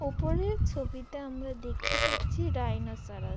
উপরের ছবিটা আমরা দেখতে পাচ্ছি রাইনসরাস --